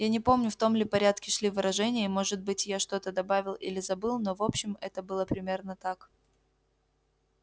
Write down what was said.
я не помню в том ли порядке шли выражения и может быть я что-то добавил или забыл но в общем это было примерно так